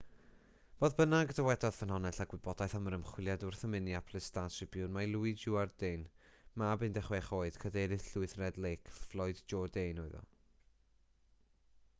fodd bynnag dywedodd ffynhonnell â gwybodaeth am yr ymchwiliad wrth y minneapolis star-tribune mai louis jourdain mab 16 oed cadeirydd llwyth red lake floyd jourdain oedd e